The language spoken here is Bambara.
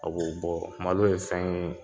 A b'o bɔ malo ye fɛn ye